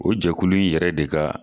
O jɛkulu in yɛrɛ de ka